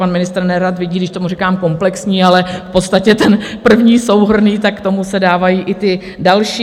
Pan ministr nerad vidí, když tomu říkám komplexní, ale v podstatě ten první souhrnný, tak k tomu se dávají i ty další.